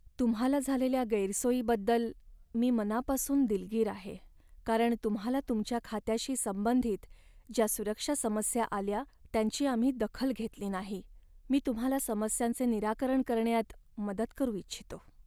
तुम्हाला झालेल्या गैरसोयीबद्दल मी मनापासून दिलगीर आहे, कारण तुम्हाला तुमच्या खात्याशी संबंधित ज्या सुरक्षा समस्या आल्या त्यांची आम्ही दखल घेतली नाही. मी तुम्हाला समस्यांचे निराकरण करण्यात मदत करू इच्छितो.